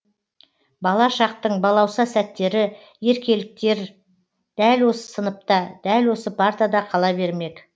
бала шақтың балауса сәттері еркеліктер дәл осы сыныпта дәл осы партада қала бермек